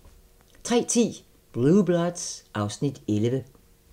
03:10: Blue Bloods (Afs. 11)